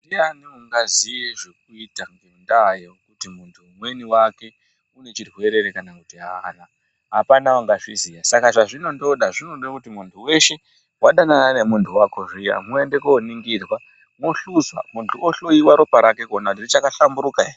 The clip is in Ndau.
Ndiani ungaziye zvekuita ngenda yekutu muntu umweni wake une chirwere ere kana kuti aana apana unga zviziva saka zvazvino ndoda zvinode kuti muntu weshe wadanana ne muntu wako zviya muende ko ningirwa mo hluza muntu o hloyiwa kuonekwa ropa rake kuti raka hlamburika ere.